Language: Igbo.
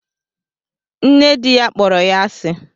Nne di ya kpọrọ ya asi